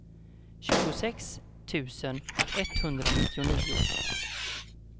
tjugosex tusen etthundranittionio